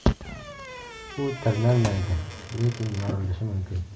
U tirnalmaydi, lekin yorilishi mumkin.